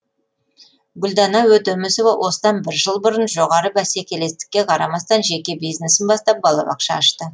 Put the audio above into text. гүлдана өтемісова осыдан бір жыл бұрын жоғары бәсекелестікке қарамастан жеке бизнесін бастап балабақша ашты